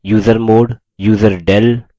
usermod userdel